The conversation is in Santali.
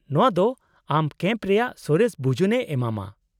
-ᱱᱚᱶᱟ ᱫᱚ ᱟᱢ ᱠᱮᱢᱯ ᱨᱮᱭᱟᱜ ᱥᱚᱨᱮᱥ ᱵᱩᱡᱩᱱᱮ ᱮᱢᱟᱢᱟ ᱾